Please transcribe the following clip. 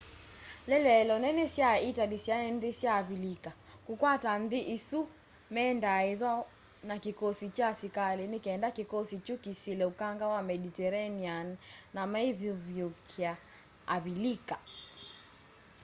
ieleelo nene sya itali syai nthi sya avilika. kukwata nthi isu mendaa ithwa na kikosikya kya asikali nikenda kikosi kyu kisile ukanga wa mediterranean na meivivúkia avilika